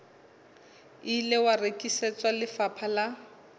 ile wa rekisetswa lefapha la